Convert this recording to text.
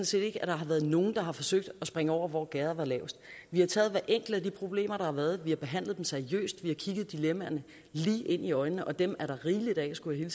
set ikke at der har været nogen der har forsøgt at springe over hvor gærdet var lavest vi har taget hvert enkelt af de problemer der har været vi har behandlet dem seriøst vi har kigget dilemmaerne lige ind i øjnene og dem er der rigeligt af skulle jeg